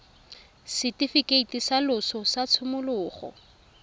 setifikeiti sa loso sa tshimologo